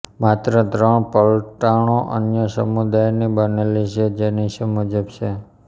માત્ર ત્રણ પલટણો અન્ય સમુદાયની બનેલી છે જે નીચે મુજબ છે